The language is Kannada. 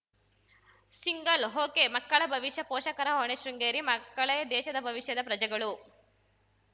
ಸಿಂಗಲ್‌ ಒಕೆಮಕ್ಕಳ ಭವಿಷ್ಯ ಪೋಷಕರ ಹೊಣೆ ಶೃಂಗೇರಿ ಮಕ್ಕಳೇ ದೇಶದ ಭವಿಷ್ಯದ ಪ್ರಜೆಗಳು